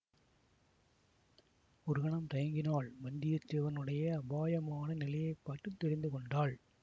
ஒரு கணம் தயங்கினாள் வந்தியத்தேவனுடைய அபாயமான நிலையை பார்த்து தெரிந்து கொண்டாள்